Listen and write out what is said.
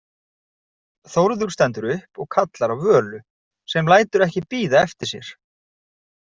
Þórður stendur upp og kallar á Völu sem lætur ekki bíða eftir sér.